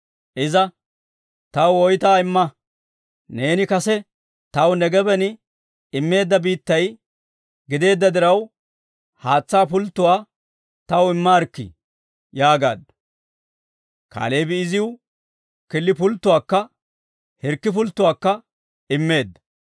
Iza, «Taw woytuwaa imma. Neeni kase taw Negeeben immeedda biittay gideedda diraw, haatsaa pulttotuwaa taw immaarikkii» yaagaaddu. Kaaleebi iziw killi pulttuwaakka hirkki pulttuwaakka immeedda.